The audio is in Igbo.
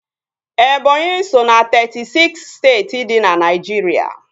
Ebọnyi so ná teetị siks steeti dị na Naijiria